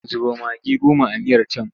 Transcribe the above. Zuba magi goma a miyar can!